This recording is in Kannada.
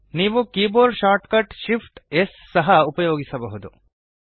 ನೀವು keyboard shortcut Shift amp S ಸಹ ಉಪಯೋಗಿಸಬಹುದು